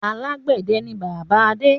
Alàgbẹ̀dẹ ni bàbá Adé.